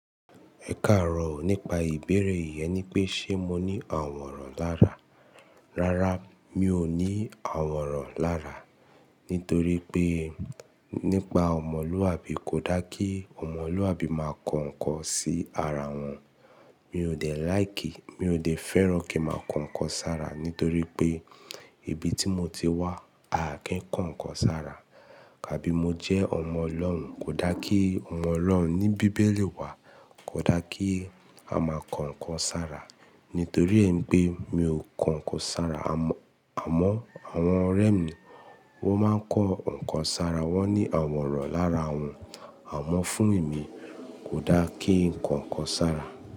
Ẹ káàárọ̀ nípa ìbéèrèe yẹn e ni pé ṣe mo ní àwòrán lára. Rárá, mi ò ní àwòrán lára. Nítorí pé nípa ọmọlúwàbí kò dá kí ọmọlúwàbí máa ko ǹkan sí ara wọn. Mi ò dẹ̀ láìkì, mi ò dẹ̀ fẹ́ràn kí màá kan ǹkan sára nítorí pé ibi tí mo ti wá, a kì í ko ǹkan sára. Tàbí mo jẹ́ ọmọ Ọlọ́run, kò dá kí ọmọ Ọlọ́run ní bíbélì wá, kò dá kí a máa kan ǹkan sára. Nítorí ẹ n pe mi ò kan ǹkan sára. Àmọ́ àwọn ọ̀rẹ́ mi wọ́n máa ń kan ǹkan sára, wọ́n ní àwòrán lára wọn. Àmọ́ fún èmi kò dá kí ǹkan kan sára.